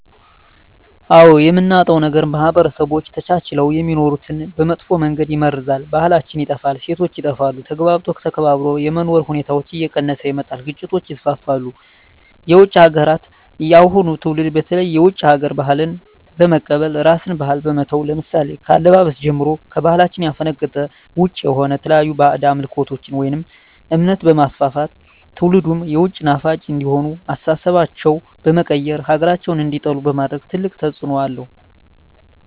አዎ የምናጣው ነገር ማህበረሰቦች ተቻችለው የሚኖሩትን በመጥፎ መንገድ ይመርዛል , ባህላችን ይጠፋል, እሴቶች ይጠፋሉ, ተግባብቶ ተከባብሮ የመኖር ሁኔታዎች እየቀነሰ ይመጣል ግጭቶች ይስፋፋሉ። የውጭ ሀገራትን የአሁኑ ትውልድ በተለይ የውጭ ሀገር ባህልን በመቀበል የራስን ባህል በመተው ለምሳሌ ከአለባበስ ጀምሮ ከባህላችን ያፈነገጠ ውጭ የሆነ የተለያዩ ባህድ አምልኮቶችን ወይም እምነት በማስፋፋት ትውልድም የውጭ ናፋቂ እንዲሆኑ አስተሳሰባቸው በመቀየር ሀገራቸውን እንዲጠሉ በማድረግ ትልቅ ተፅዕኖ አለው።